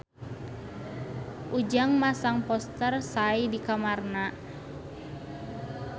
Ujang masang poster Psy di kamarna